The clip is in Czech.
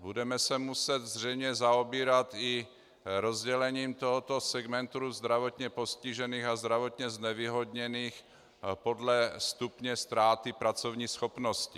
Budeme se muset zřejmě zaobírat i rozdělením tohoto segmentu zdravotně postižených a zdravotně znevýhodněných podle stupně ztráty pracovní schopnosti.